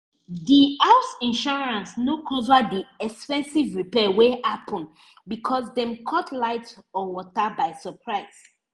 di house insurance no cover the expensive repair wey happen because dem cut light or water by surprise